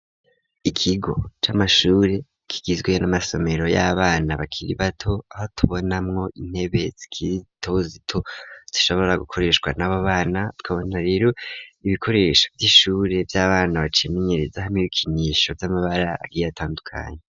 Ikigo c'amashure kigizwe n'amasomero y'abana bakiri bato aho tubona mwo intebetsikitozito tushobora gukoreshwa n'abo bana twabonareru ibikoresho by'ishure by'abana bacimenyereza hamw ibikinisho vy'amabara biyatandukanye.